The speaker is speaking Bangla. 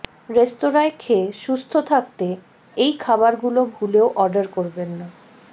রেস্তোরাঁয় খেয়ে সুস্থ থাকতে এই খাবারগুলো ভুলেও অর্ডার করবেন না